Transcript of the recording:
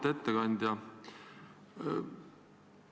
Auväärt ettekandja!